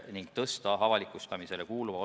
Nii on veel järgmised viis aastat.